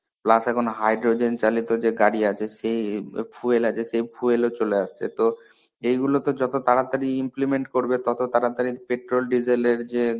plus এখন hydrogen চালিত যে গাড়ী আছে, সে ই fuel আছে সে fuel ও চলে আসছে. এইগুলোতে যত তাড়াতাড়ি implement করবে ততো তাড়াতাড়ি petrol desiel যে